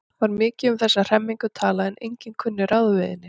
Var mikið um þessa hremmingu talað en enginn kunni ráð við henni.